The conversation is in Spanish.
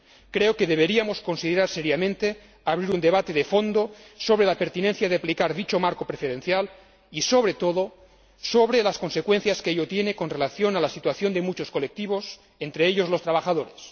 Creo que deberíamos considerar seriamente abrir un debate de fondo sobre la pertinencia de aplicar dicho marco preferencial y, sobre todo, sobre las consecuencias que ello tiene con relación a la situación de muchos colectivos, entre ellos los trabajadores.